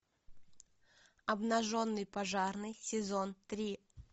обнаженный пожарный сезон три